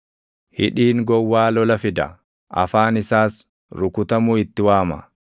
Hidhiin gowwaa lola fida; afaan isaas rukutamuu itti waama.